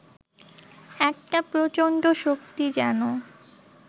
একটা প্রচণ্ড শক্তি যেন